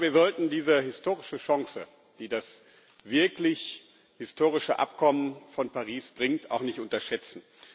Aber wir sollten diese historische Chance, die das wirklich historische Übereinkommen von Paris bringt, auch nicht unterschätzen.